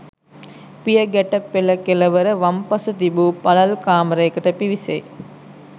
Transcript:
පියගැට පෙළ කෙළවර වම්පස තිබූ පළල් කාමරයකට පිවිසෙයි